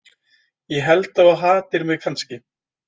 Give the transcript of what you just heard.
Ég held að þú hatir mig kannski.